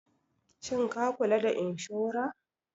Shin ka kula da inshora?